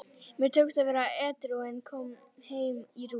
Mér tókst að vera edrú en kom heim í rúst.